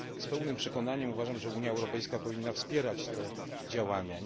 Z pełnym przekonaniem twierdzę, że Unia Europejska powinna wspierać te działania.